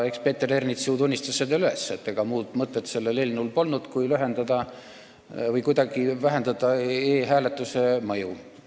Eks Peeter Ernits ju tunnistas üles, et ega muud mõtet sellel eelnõul polnudki kui kuidagi vähendada e-hääletuse mõju.